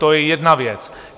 To je jedna věc.